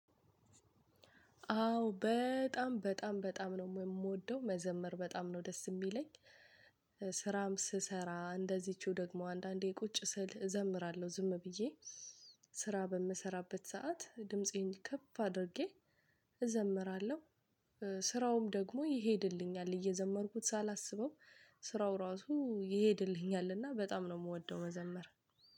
አዎ በጣም በጣም በጣም ነው የምወደው መዘመር በጣም ነው ደስ የሚለኝ። ስራም ስሰራ እንደዚችው ደግሞ አንዳንዴ ቁጭ ስል እዘምራለሁ ዝም ብዬ ስራ በምሰራበት ሰዓት ድምፄን ከፍ አድርጌ እዘምራለሁ። ስራውም ደግሞ ይሄድልኛል እየዘመርኩት ሳላስበው ስራው ራሱ ይሄድልኛል እና በጣም ነው የምወደው መዘመር።